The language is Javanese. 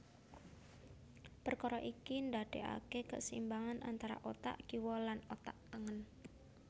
Perkara iki ndadekake keseimbangan antarane otak kiwa lan otak tengen